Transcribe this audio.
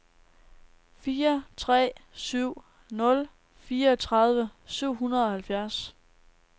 fire tre syv nul fireogtredive syv hundrede og halvfjerds